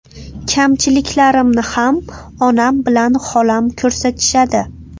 Kamchiliklarimni ham onam bilan xolam ko‘rsatishadi.